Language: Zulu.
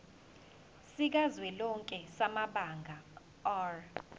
sikazwelonke samabanga r